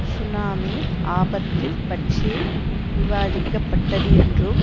tsunami ஆபத்து பற்றிய விவாதிக்கப்பட்டது என்றும்